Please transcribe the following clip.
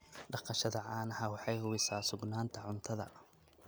Dhaqashada caanaha waxay hubisaa sugnaanta cuntada.